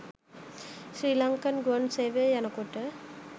ශ්‍රී ලන්කන් ගුවන් සේවයේ යනකොට